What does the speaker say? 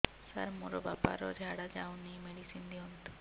ସାର ମୋର ବାପା ର ଝାଡା ଯାଉନି ମେଡିସିନ ଦିଅନ୍ତୁ